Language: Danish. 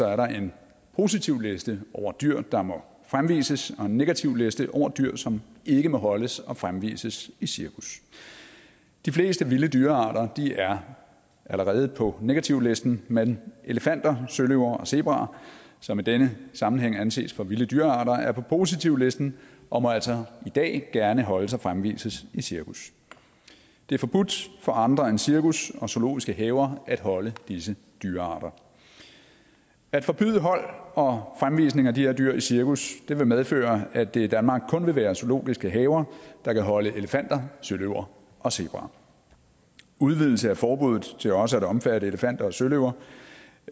er der en positivliste over dyr der må fremvises og en negativliste over dyr som ikke må holdes og fremvises i cirkus de fleste vilde dyrearter er allerede på negativlisten men elefanter søløver og zebraer som i denne sammenhæng anses for vilde dyrearter er på positivlisten og må altså i dag gerne holdes og fremvises i cirkus det er forbudt for andre end cirkus og zoologiske haver at holde disse dyrearter at forbyde hold og fremvisning af de her dyr i cirkus vil medføre at det i danmark kun vil være zoologiske haver der kan holde elefanter søløver og zebraer udvidelse af forbuddet til også at omfatte elefanter søløver